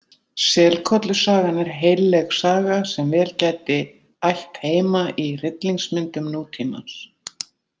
Selkollusagan er heilleg saga sem vel gæti ætt heima í hryllingsmyndum nútímans.